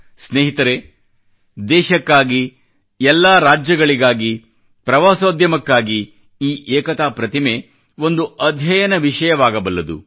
ಸ್ನೇಹಿತರೇ ದೇಶಕ್ಕಾಗಿ ಎಲ್ಲಾ ರಾಜ್ಯಗಳಿಗಾಗಿ ಪ್ರವಾಸೋದ್ಯಮಕ್ಕಾಗಿ ಈ ಏಕತಾ ಪ್ರತಿಮೆ ಒಂದು ಅಧ್ಯಯನ ವಿಷಯವಾಗಬಲ್ಲದು